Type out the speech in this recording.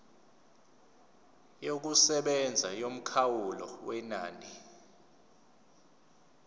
yokusebenza yomkhawulo wenani